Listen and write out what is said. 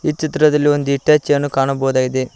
ಈ ಚಿತ್ರದಲ್ಲಿ ಒಂದು ಹಿಟಾಚಿ ಅನ್ನು ಕಾಣಬಹುದಾಗಿದೆ.